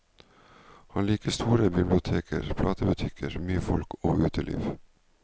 Han liker store biblioteker, platebutikker, mye folk og uteliv.